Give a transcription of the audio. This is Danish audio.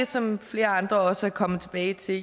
som flere andre også er kommet tilbage til